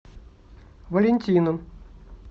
валентином